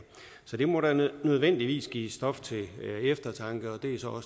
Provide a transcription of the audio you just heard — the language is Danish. så det må da nødvendigvis give stof til eftertanke og det er så